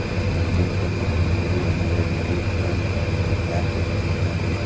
ಮತ್ತೆ ಗೇಟ್ ಬಂದ್ಬಿಟ್ಟಿ maroon red green colour ಮತ್ತೆ ಬ್ಲಾಕ್ ಆಲ್ ಪೇಂಟ್ ಆಗಿದೆ.